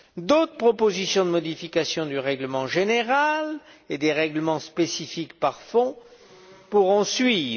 D'autres propositions de modification du règlement général et des règlements spécifiques à chaque fonds pourront suivre.